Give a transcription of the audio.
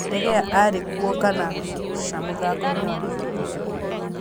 De Gea arĩ kuo kana ca mũthako inĩ na Liverpool?